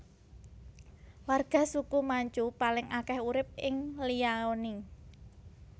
Warga suku Manchu paling akeh urip ing Liaoning